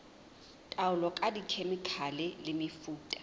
taolo ka dikhemikhale le mefuta